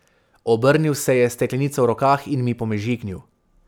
Obrnil se je s steklenico v rokah in mi pomežiknil.